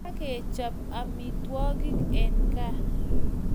Kakechap amitwokik en gaa .